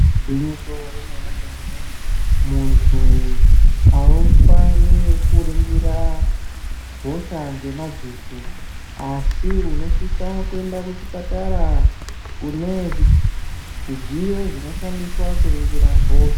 Gwinyiso remene mene muntu aufani kuringira hosha ngemadziso asi unosisa kuenda kuchipatara kune zvidziyo zvinoshandiswa kuringira hosha.